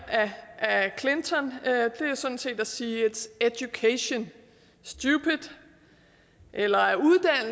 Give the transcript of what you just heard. af clinton er sådan set at sige its education stupid eller